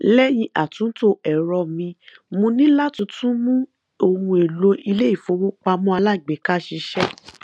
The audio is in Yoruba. lẹyìn àtúntò ẹrọ mi mo ní láti tún mú ohun èlò iléifowópamọ alágbèéká ṣiṣẹ